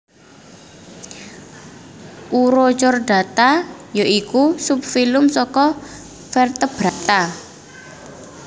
Urochordata ya iku subfilum saka vertebrata